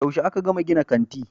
Yaushe aka gama gina kanti